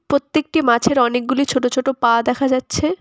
প্রত্যেকটি মাছের অনেকগুলি ছোটো ছোটো পা দেখা যাচ্ছে।